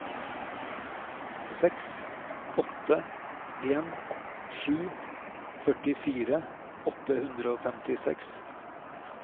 seks åtte en sju førtifire åtte hundre og femtiseks